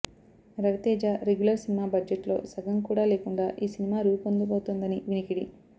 Raviteja regular cinema budget లో సగం కూడా లేకుండా ఈ సినిమా రూపొందబోతోందని వినికిడి